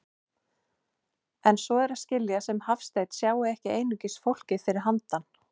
En svo er að skilja sem Hafsteinn sjái ekki einungis fólkið fyrir handan.